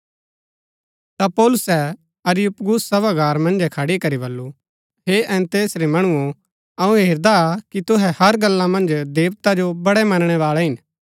ता पौलुसै अरियुपगुस सभागार मन्जै खड़ी करी बल्लू हे एथेंस रै मणुओ अऊँ हेरदा कि तुहै हर गल्ला मन्ज देवता जो बड़ै मनणैवाळै हिन